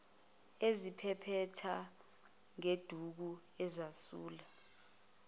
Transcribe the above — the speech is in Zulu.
eziphephetha ngeduku azesula